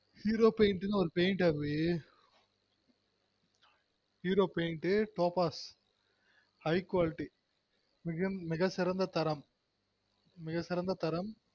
Zero paint நு ஒரு paint அபி topaz high quality மிக சிறந்த தரம்